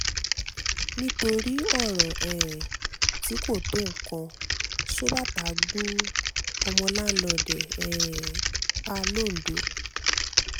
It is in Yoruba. nítorí ọ̀rọ̀ tí um kò tó nǹkan ṣọ́ọ̀bàtà gún ọmọ láǹlọ́ọ̀dù ẹ̀ um pa lọ́ńdọ̀